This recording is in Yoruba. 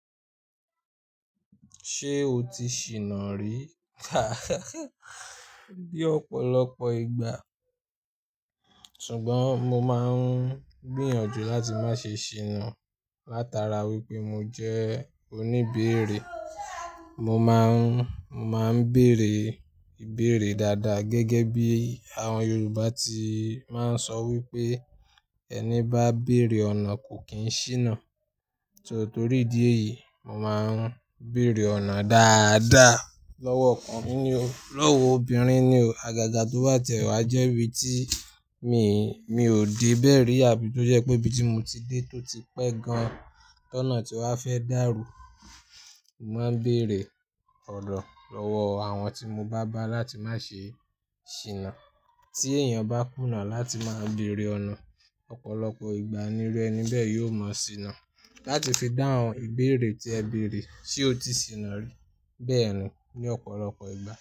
Ṣé o ti ṣìnà rí? Ní ọ̀pọ̀lọpọ̀ ìgbà. Ṣùgbọ́n mo máa ń gbìyànjú láti má ṣe ṣìnà. Látara wípé mo jẹ́ oníbẹ̀rẹ̀, mo máa ń, mo má ń bẹ̀rẹ̀ ìbẹ̀rẹ̀ dáadáa gẹ́gẹ́ bí àwọn Yorùbá ti máa ń sọ wípé "ẹni bá bẹ̀rẹ̀ ọ̀nà kò kì í ṣìnà". So Torí ìdí èyí, mo máa ń bẹ̀rẹ̀ ọ̀nà dáadáa. Lọ́wọ́ ọkùnrin ni o, lọ́wọ́ obìnrin ni o. Àgàgà tó ba tẹ́ wá jẹ́ ibi tí mi, mi ò de bẹ́ ri abí tó jẹ́ pé ibi tí mo ti dé tó ti pẹ́ gan-an, tọ́nà tí wa fẹ́ dàrú. Mo máa ń bẹ̀rẹ̀ ọ̀nà lọ́wọ́ àwọn tí mo bá bá láti má ṣe ṣìnà. Tí èèyàn bá kùnà láti má a bẹ̀rẹ̀ ọ̀nà, ọ̀pọ̀lọpọ̀ ìgbà ní iru ẹni bẹ́ẹ̀ yóò mọ ṣìnà. Láti fi dáhùn ìbẹ̀rẹ̀ tí ẹ bèrè "ṣé o ti ṣìnà rí?" bẹ́ẹ̀ ni ní ọ̀pọ̀lọpọ̀ ìgbà.